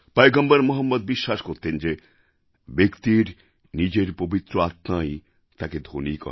পয়গম্বর মহম্মদ বিশ্বাস করতেন যে ব্যক্তির নিজের পবিত্র আত্মাই তাঁকে ধনী করে